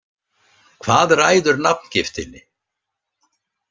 Hvað ræður nafngiftinni?